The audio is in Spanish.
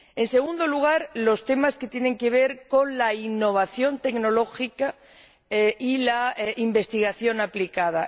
En segundo lugar, los temas que tienen que ver con la innovación tecnológica y la investigación aplicada.